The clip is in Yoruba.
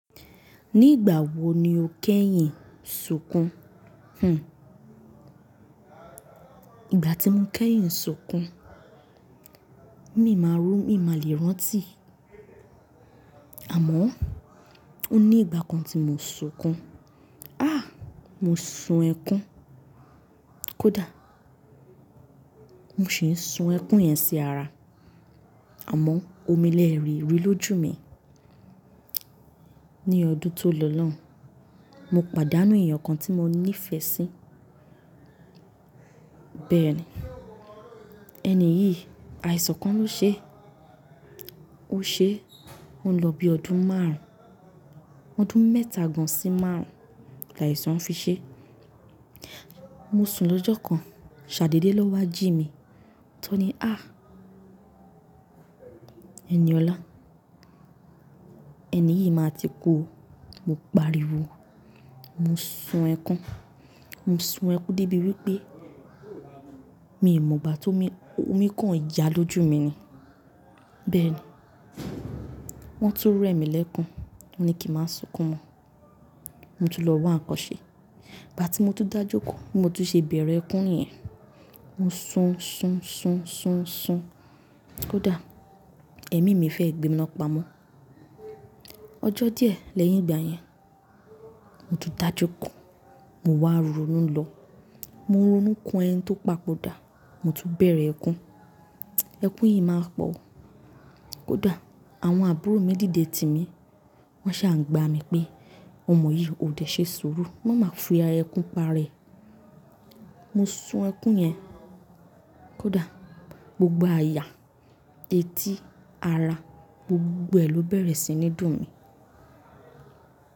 Nígbà wo ni o kẹ́yìn sunkún? Hhm. Ìgbà tí mo kẹ́yìn sunkún, mi máa rún, mi má lè rántí. Àmọ́ o ní ìgbà kan tí mo sunkún. Ah! Mo sun ẹkún. Kódà, mo sì ń sun ẹkún yẹn sí ara. Àmọ́ omi lè lerí, lójú mi ní ọdún tó lọ lon, mo pàdánù èèyàn kan tí mo nífẹ̀ẹ́ sí. Bẹ́ẹ̀ ni. Ẹni yìí, àìsàn kan ló ṣe. Ó ṣe, ó ń lọ bí ọdún márùn-ún. Ọdún mẹ́ta gan-an sí márùn-ún la àìsàn fi ṣe. Mo sùn lọ́jọ́ kan, ṣàdédé na wá jí mi. Tọ́ ni, ah! Ẹniọ̀la. Ẹni yìí máa ti kú o. Mo pariwo, mo sun ẹkún. Mo sun ẹkún débi wípé mi ìmọ̀ gba tó mi, omi kan yà lójú mi ni. Bẹ́ẹ̀ ni. Wọ́n tún rẹ mi lẹ́kun. Wọ́n ní kí n má sunkún mọ́. Mo tún lọ wá ǹkan ṣe. Gbà tí mo tún dájókòó, mo tún ṣe bẹ̀rẹ̀ ẹkún niyẹn. Mo sun, sun, sun, sun, sun. Kódà, ẹ̀mí mi fẹ́ gbé mi náà lpamọ́. Ọjọ́ díẹ̀ lẹ́yìn ìgbà yẹn, mo tún dájókòó. Mo wá ronú lọ. Mo ronú kan ẹni tó papò dá, mo tún bẹ̀rẹ̀ ẹkún. Ẹkún yìí máa pọ̀ o. Kódà, àwọn àbúrò mi dìde tì mí. Wọn ṣaà ń gba mi pé, ọmọ yìí ò dẹ̀ ṣe sùúrù. Má máa fi ẹkún pa rẹ. Mo sun ẹkún yẹn. Kódà, gbogbo àyà, etí, ara, gbogbo ẹ lọ bẹ̀rẹ̀ sí ní dùn mí.